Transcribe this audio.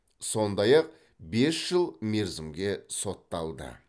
сондай ақ бес жыл мерзімге сотталды